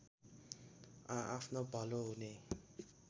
आआफ्नो भलो हुने